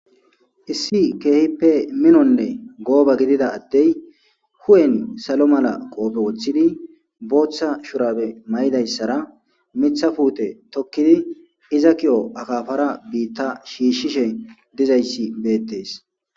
Issi keehippe minonne gooba gidida addey hu'en salo mala qoofe woththidi booththa shurabe may'idayssara mitha puute tokkidi iza ki'o akafara biitta shiishshishe dizayssi beettees.